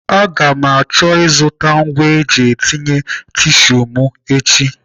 Aga m achọ ịzụta ngwa eji etinye tisu m echi.